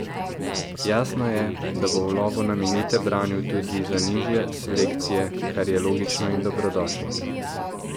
Jasno je, da bo v lovu na minute branil tudi za nižje selekcije, kar je logično in dobrodošlo.